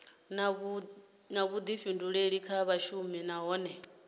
na vhuḓifhinduleli kha vhashumi nahone